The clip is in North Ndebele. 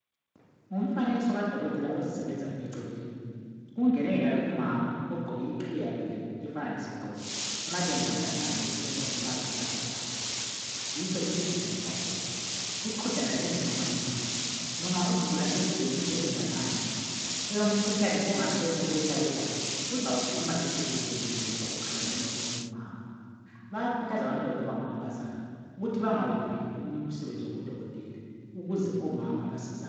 Ngumfanekiso kadokotela ozisebenzayo eceleni. Kungene yenalo umama ogqoke iqhiye yakhe efana lesigqoko amalembu wonala ande ukusebenza kumazwekazi eAfrica. Kuqhudelane umama lomama. Loba isigulane lesi silemfihlo enganani yomkhuhlane ongasese owesabekayo uzawukhuluma ekhululekile ngoba ukhangelane lomunye umama. Bayakhuthazwa abantwana bethu abangamankazana ukuba bangawuviki umsebenzi wobudokotela ukuze omama basizakale.